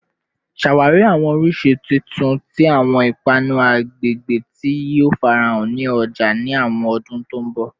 Ṣawari awọn oriṣi titun ti awọn ipanu agbegbe ti yoo farahan ni ọja ni awọn ọdun to nbo